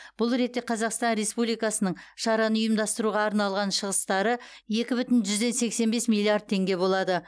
бұл ретте қазақстан республикасының шараны ұйымдастыруға арналған шығыстары екі бүтін жүзден сексен бес миллиард теңге болады